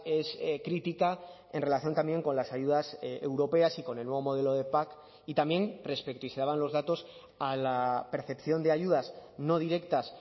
es crítica en relación también con las ayudas europeas y con el nuevo modelo de pac y también respecto y se daban los datos a la percepción de ayudas no directas